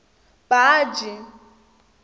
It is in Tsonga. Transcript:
baji